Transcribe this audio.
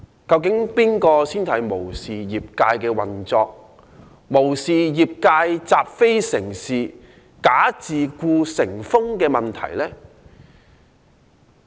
究竟是誰無視業界的運作，無視業界"習非成是，'假自僱'成風"的問題？